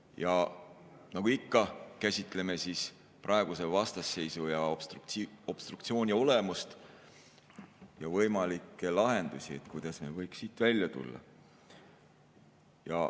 Ja nagu ikka, käsitleme praeguse vastasseisu ja obstruktsiooni olemust ja võimalikke lahendusi, kuidas me võiks siit välja tulla.